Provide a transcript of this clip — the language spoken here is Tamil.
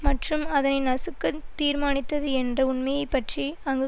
மற்றும் அதனை நசுக்க தீர்மானித்தது என்ற உண்மையை பற்றி அங்கு